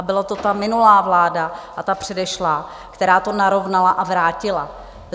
A byla to ta minulá vláda a ta předešlá, která to narovnala a vrátila.